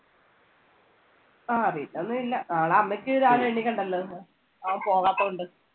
ആ പിന്നെ ഒന്നും ഇല്ല, നാളെ അമ്മച്ചിക്ക് രാവിലെ എണീക്കണ്ടല്ലോ? അവൻ പോകാത്ത കൊണ്ട്.